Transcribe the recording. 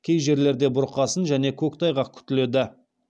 кей жерлерде бұрқасын және көктайғақ күтіледі